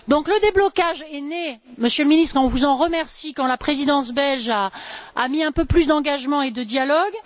Le déblocage est arrivé Monsieur le Ministre, nous vous en remercions quand la Présidence belge a opté pour un peu plus d'engagement et de dialogue.